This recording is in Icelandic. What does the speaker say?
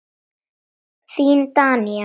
Þín Danía.